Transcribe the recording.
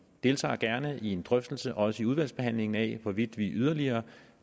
deltager gerne i en drøftelse også i udvalgsbehandlingen af hvorvidt vi yderligere